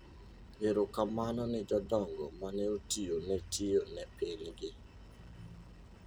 Erokamno ni jodongo maneotiyo ne tio ne pinygi.